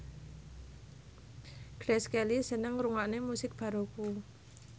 Grace Kelly seneng ngrungokne musik baroque